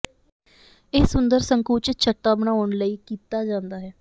ਇਹ ਸੁੰਦਰ ਸੰਕੁਚਿਤ ਛੱਤਾਂ ਬਣਾਉਣ ਲਈ ਕੀਤਾ ਜਾਂਦਾ ਹੈ